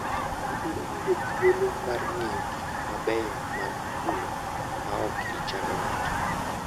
Ibiro yudo thuolo mar ng'iyo gik mabeyo man kuno maok ichando ng'ato.